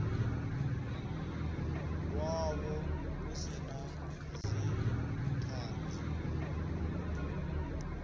wavho hu si na dzithanzi